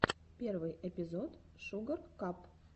первый эпизод шугар кап